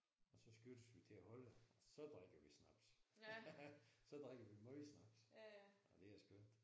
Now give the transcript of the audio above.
Og så skiftes vi til at holde og så drikker vi snaps. Så drikker vi meget snaps. Og det er skønt